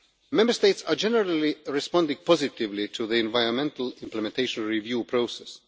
Member States are generally responding positively to the environmental implementation review process.